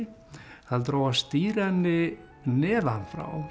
heldur á að stýra henni neðan frá